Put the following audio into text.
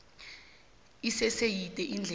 isese yide indlela